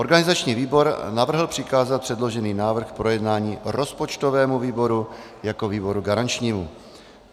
Organizační výbor navrhl přikázat předložený návrh k projednání rozpočtovému výboru jako výboru garančnímu.